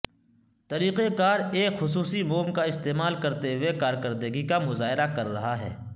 طریقہ کار ایک خصوصی موم کا استعمال کرتے ہوئے کارکردگی کا مظاہرہ کر رہا ہے